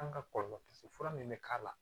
An ka kɔlɔlɔ fura min bɛ k'a la